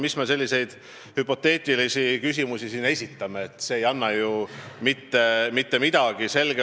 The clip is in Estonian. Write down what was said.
Mis me selliseid hüpoteetilisi küsimusi siin esitame – see ei anna mitte midagi.